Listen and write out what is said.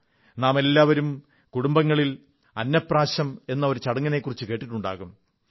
നാമെല്ലാവരും കുടുംബങ്ങളിൽ ഭാരതത്തിലെ എല്ലാ ഭാഗങ്ങളിലും അന്നപ്രാശം എന്ന ഒരു ചടങ്ങിനെക്കുറിച്ചു കേട്ടിട്ടുണ്ടാകും